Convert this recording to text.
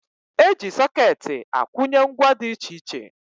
E ji sọkeetị akwụnye ngwa dị iche iche